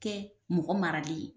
Kɛ mɔgɔ maralen ye